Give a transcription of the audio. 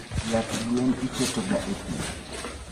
Yath gwen iketoga e pii